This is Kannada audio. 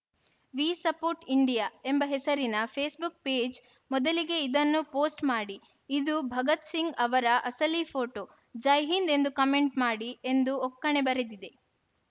ವಿ ಸಪೋರ್ಟ್‌ ಇಂಡಿಯಾ ಎಂಬ ಹೆಸರಿನ ಫೇಸ್‌ಬುಕ್‌ ಪೇಜ್‌ ಮೊದಲಿಗೆ ಇದನ್ನು ಪೋಸ್ಟ್‌ ಮಾಡಿ ಇದು ಭಗತ್‌ ಸಿಂಗ್‌ ಅವರ ಅಸಲಿ ಫೋಟೋ ಜೈಹಿಂದ್‌ ಎಂದು ಕಮೆಂಟ್‌ ಮಾಡಿ ಎಂದು ಒಕ್ಕಣೆ ಬರೆದಿದೆ